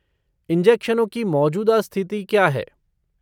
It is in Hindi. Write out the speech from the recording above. इंजेक्शनों की मौजूदा स्थिति क्या है?